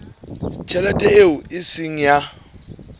tjhelete eo e seng ya